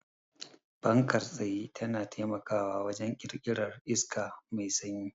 Fankar tsaye tana taimakawa wajen ƙirƙirar iska mai sanyi.